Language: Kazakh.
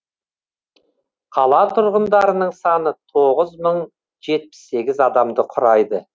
қала тұрғындарының саны тоғыз мың жетпіс сегіз адамды құрайды